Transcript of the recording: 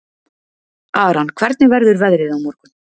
Aran, hvernig verður veðrið á morgun?